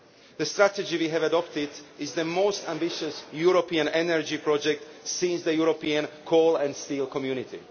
The strategy we have adopted is the most ambitious European energy project since the European Coal and Steel Community.